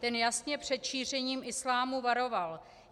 Ten jasně před šíření islámu varoval.